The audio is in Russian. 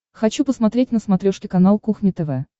хочу посмотреть на смотрешке канал кухня тв